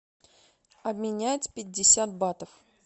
обменять пятьдесят батов